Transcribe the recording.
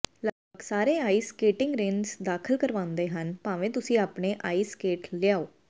ਲਗਭਗ ਸਾਰੇ ice skating rinks ਦਾਖਲ ਕਰਾਉਂਦੇ ਹਨ ਭਾਵੇਂ ਤੁਸੀਂ ਆਪਣੇ ਆਈਸ ਸਕੇਟ ਲਿਆਓ